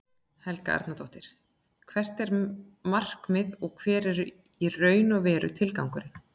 Helga Arnardóttir: Hvert er markmiðið og hver er í raun og veru tilgangurinn?